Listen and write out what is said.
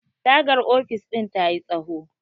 tagar ofis ɗin ta yi tsaho